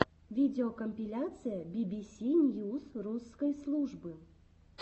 видеокомпиляция бибиси ньюс русской службы